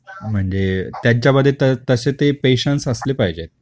म्हणजे त्याच्या मध्ये तसे ते पेशन्स असले पाहिजे